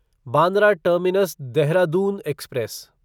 Bandra Terminus Dehradun express